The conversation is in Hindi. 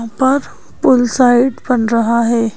उपर पुल साइड बन रहा है।